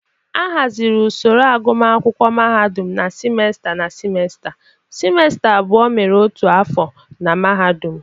A hazịri usoro agụmakwụkwọ mahadụm na simesta na simesta; simesta abụọ mere otu afọ na mahadum.